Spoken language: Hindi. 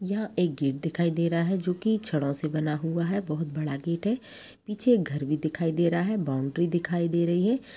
यह एक गेट दिखाई दे रहा है जो की छड़ों से बना हुआ है बहुत बड़ा गेट है पीछे घर भी दिखाई दे रहा है बाउन्ड्री दिखाई दे रही है।